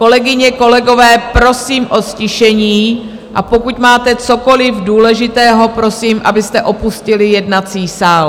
Kolegyně, kolegové, prosím o ztišení, a pokud máte cokoli důležitého, prosím, abyste opustili jednací sál.